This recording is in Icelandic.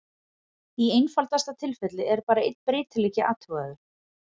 Í einfaldasta tilfelli er bara einn breytileiki athugaður.